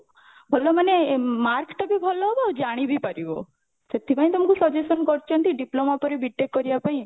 ଭଲ ମାନେ mark ଟା ବି ଭଲ ହବ ଆଉ ଜାଣି ବି ପାରିବ ସେଥିପାଇଁ ତମକୁ suggestion କରୁଛନ୍ତି diploma ପରେ B.TECH କରିବା ପାଇଁ